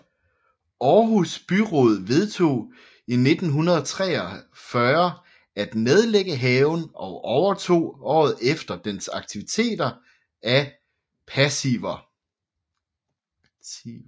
Aarhus Byråd vedtog i 1943 at nedlægge haven og overtog året efter dens aktiver af passiver